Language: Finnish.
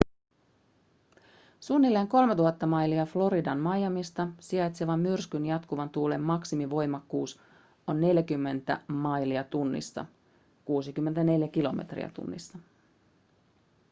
suunnilleen 3 000 mailia floridan miamista sijaitsevan myrskyn jatkuvan tuulen maksimivoimakkuus on 40 mph 64 kph